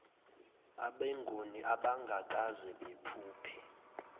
abenguni abangakaze baphuphe